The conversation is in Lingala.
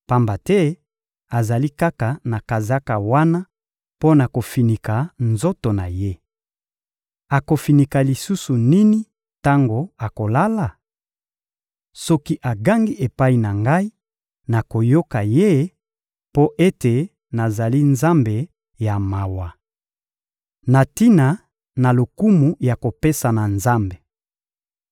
pamba te azali kaka na kazaka wana mpo na kofinika nzoto na ye. Akofinika lisusu nini tango akolala? Soki agangi epai na Ngai, nakoyoka ye mpo ete nazali Nzambe ya mawa. Na tina na lokumu ya kopesa na Nzambe